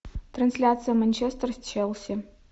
трансляция манчестер с челси